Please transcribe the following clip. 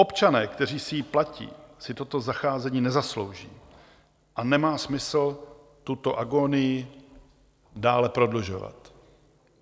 Občané, kteří si ji platí, si toto zacházení nezaslouží a nemá smysl tuto agonii dále prodlužovat.